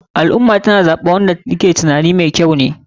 Al ummah tana zaɓen wanda ta ke tunanin me kyau ne.